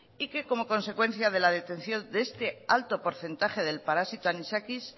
y que como consecuencia de la detección de este alto porcentaje del parásito anisakis